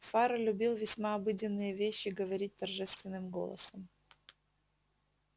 фара любил весьма обыденные вещи говорить торжественным голосом